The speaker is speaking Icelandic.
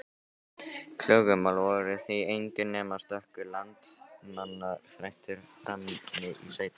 Klögumál voru því engin nema stöku landamerkjaþrætur frammi í sveitum.